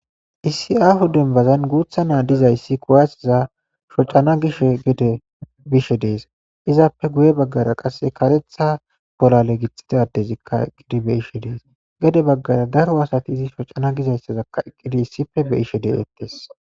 Isi ahu denbazan guutha naa dizayssi kuwaasiza shocana gishe gede bishe dees izaappe guye baggara qasse karetha bolale gixxidadezikka gidibe ishe dees gede baggara daro asati izi shocana gizayssazakka eqqidi issife be ishe de7eettes.